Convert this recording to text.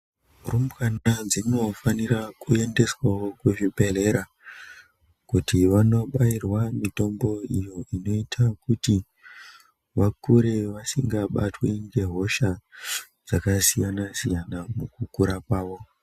Rumbwana dzinofanira kuendeswa kuzvibhedhlera kuti vanobairwe mitombo iyo inoita vakure vasingabatwi ngehosha dzakasiyana siyana mukukura kwawo.